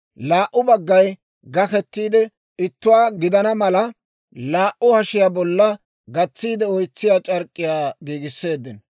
Laa"u baggay gakettiide ittuwaa gidana mala, laa"u hashiyaa bolla gatsiide oytsiyaa c'ark'k'iyaa giigisseeddino.